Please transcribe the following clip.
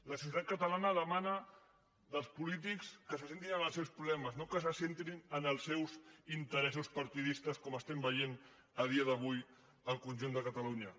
la societat catalana demana als polítics que se centrin en els seus problemes no que se centrin en els seus interessos partidistes com estem veient a dia d’avui al conjunt de catalunya